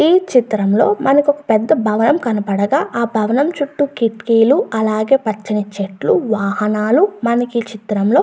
ఈ చిత్రం లో మనకి పెద్ద భవనం కనపడగా ఆ భవనం చుట్టూ కిటికీలుఅలాగే కర్టెన్ లు అలాగే వాహనాలు మనకి ఈ చిత్రంలో--